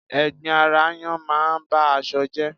Ẹ̀gbin ara aáyán máa ń ba aṣọ jẹ́